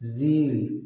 Ziiri